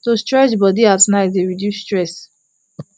to stretch body at night dey reduce stress